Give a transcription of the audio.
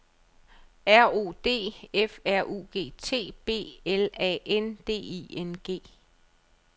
R O D F R U G T B L A N D I N G